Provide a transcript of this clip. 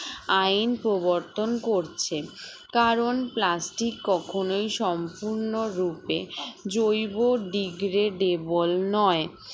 আইন প্রবর্তন করছে কারণ plastic কখনোই সম্পূর্ণরূপে জৈব degradable নয়